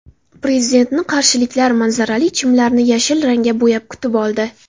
Prezidentni qarshiliklar manzarali chimlarni yashil rangga bo‘yab kutib oldi .